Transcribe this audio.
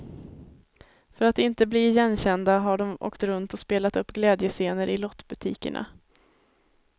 För att inte bli igenkända har de åkt runt och spelat upp glädjescener i lottbutikerna.